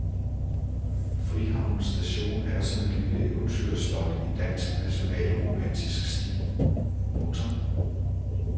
Frihavnens station er som et lille eventyrslot i dansk nationalromantisk stil. punktum